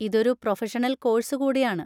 ഇതൊരു professional course കൂടിയാണ്.